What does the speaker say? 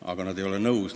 Aga nad ei ole nõus.